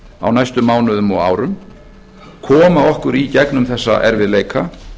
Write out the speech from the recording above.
á næstu mánuðum og árum koma okkur í gegnum þessa erfiðleika